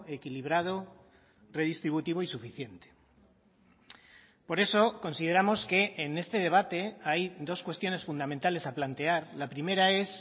equilibrado redistributivo y suficiente por eso consideramos que en este debate hay dos cuestiones fundamentales a plantear la primera es